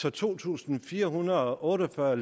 er to tusind fire hundrede og otte og fyrre